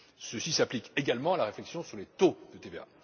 Ceci s'applique également à la réflexion sur les taux de TVA.